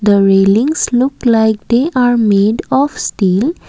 the railings look like they are made of steel.